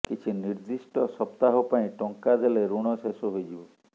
କିଛି ନିର୍ଦ୍ଦିଷ୍ଟ ସପ୍ତାହ ପାଇଁ ଟଙ୍କା ଦେଲେ ଋଣ ଶେଷ ହୋଇଯିବ